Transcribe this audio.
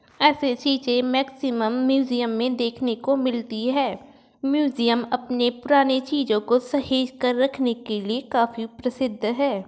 AC चीज़े maximum museum में देखने को मिलती है। म्यूजियम अपने पुरानी चीजो को सहेज कर रखने के लिए काफ़ी प्रसिद्ध है।